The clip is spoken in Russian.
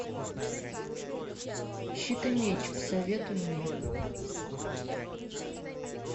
щит и меч посоветуй мне